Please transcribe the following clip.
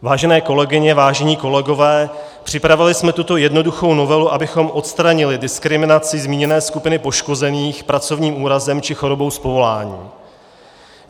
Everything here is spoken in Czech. Vážené kolegyně, vážení kolegové, připravili jsme tuto jednoduchou novelu, abychom odstranili diskriminaci zmíněné skupiny poškozených pracovním úrazem či chorobou z povolání.